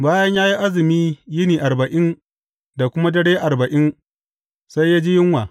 Bayan ya yi azumi yini arba’in da kuma dare arba’in, sai ya ji yunwa.